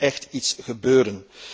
Daar moet echt iets gebeuren.